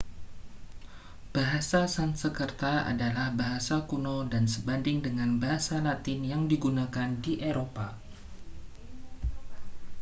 bahasa sansekerta adalah bahasa kuno dan sebanding dengan bahasa latin yang digunakan di eropa